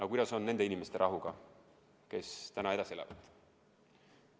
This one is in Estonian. Aga kuidas on nende inimeste rahuga, kes täna edasi elavad?